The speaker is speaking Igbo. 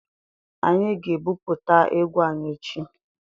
Anyị ga-ebuputa égwu anyị echi.